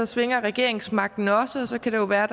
svinger regeringsmagten også og så kan det jo være